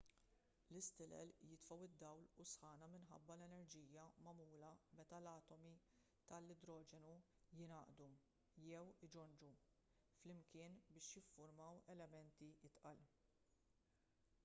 l-istilel jitfgħu d-dawl u s-sħana minħabba l-enerġija magħmula meta l-atomi tal-idroġenu jingħaqdu jew iġonġu flimkien biex jiffurmaw elementi itqal